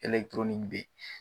beyi.